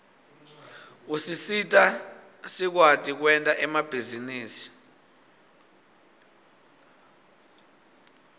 usisita sikwati kwerta emabihzarusi